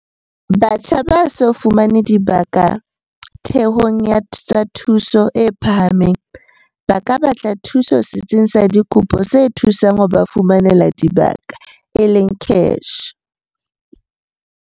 Batjha ba so fumane dibaka ditheong tsa thuto e phahameng ba ka batla thuso Setsing sa Dikopo se Thusang ho ba Fumanela Dibaka, CACH.